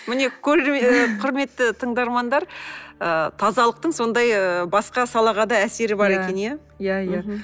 міне ы құрметті тыңдармандар ы тазалықтың сондай ыыы басқа салаға да әсері бар екен иә иә иә